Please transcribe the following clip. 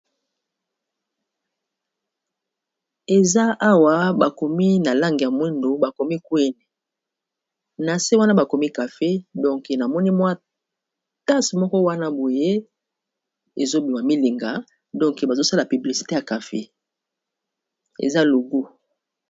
Eza awa bakomi na lange ya mwindo, bakomi kweni na se wana bakomi cafe donke namoni mwatase moko wana boye ezobima milinga donke bazosala publisite ya kafe eza logu.